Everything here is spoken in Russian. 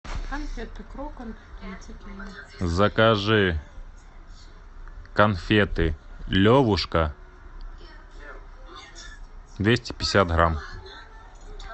закажи конфеты левушка двести пятьдесят грамм